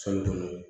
kɔnɔ